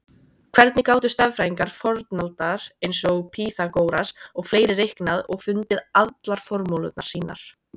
Hvernig gátu stærðfræðingar fornaldar eins og Pýþagóras og fleiri reiknað og fundið allar formúlurnar sínar?